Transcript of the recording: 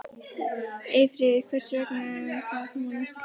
Eyfríður, hversu margir dagar fram að næsta fríi?